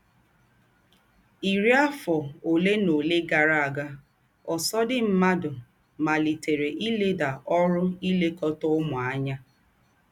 Ìrí àfọ̀ òlé nà òlé gárà ága, ǒsọ̀̀dí mmádụ màlítèrè ìlèdà ọ́rụ̀ ílèkọ̀tà ǔmū ányà.